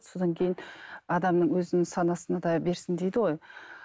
содан кейін адамның өзінің санасына да берсін дейді ғой